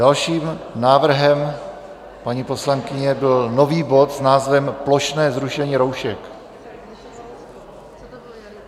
Dalším návrhem paní poslankyně byl nový bod s názvem Plošné zrušení roušek.